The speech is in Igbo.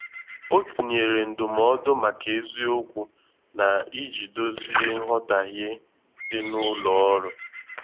O tinyèrè ndụmọdụ màkà eziokwu ná iji dozie nghotahie dị ná ụlọ ọrụ.